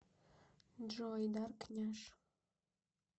джой дарк няш